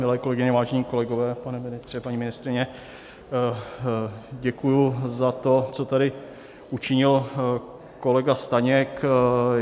Milé kolegyně, vážení kolegové, pane ministře, paní ministryně, děkuji za to, co tady učinil kolega Staněk.